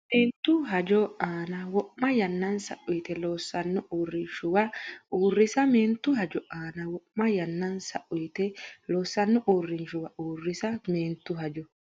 Meentu hajo aana wo’ma yannansa uyite loossanno uurrinshuwa uurrisa Meentu hajo aana wo’ma yannansa uyite loossanno uurrinshuwa uurrisa Meentu hajo.